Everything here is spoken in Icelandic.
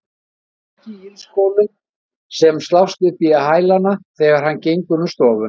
Hann er ekki í ilskónum sem slást upp í hælana þegar hann gengur um stofuna.